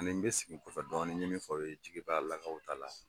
Ani bɛ sigi dɔɔnin kɔfɛ n ɲe min fɔ aw ye jigibalakaw ta la